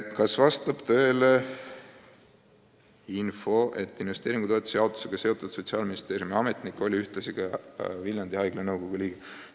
"Kas vastab tõele info, et investeeringutoetuse jaotusega seotud Sotsiaalministeeriumi ametnik oli ühtlasi ka Viljandi Haigla nõukogu liige?